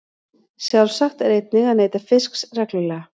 Sjálfsagt er einnig að neyta fisks reglulega.